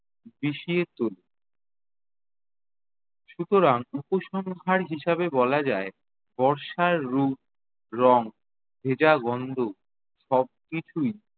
বিষিয়ে তোলে। সুতরাং উপসংহার হিসেবে বলা যায় বর্ষার রূপ, রং, ভেজা গন্ধ সবকিছুই